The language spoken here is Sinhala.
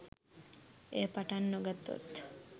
එය පටන් නො ගත්තොත්